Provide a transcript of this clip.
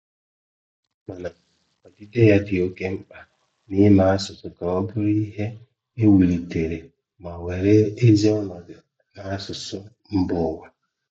Mana odide ya dị oke mkpa n’ime asụsụ ka ọ bụrụ ihe e wulitere ma were ezi ọnọdụ n’asụsụ mba ụwa.